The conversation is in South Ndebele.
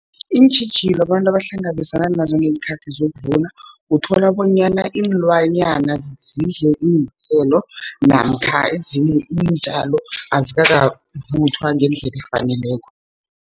Iintjhijilo abantu abahlangabezana nazo ngeenkhathi zokuvuna, uthola bonyana iinlwanyana zidle iinthelo namkha ezinye iintjalo azikakavuthwa ngendlela efaneleko.